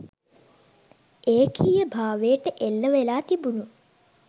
ඒකීයභාවයට එල්ල වෙලා තිබුණු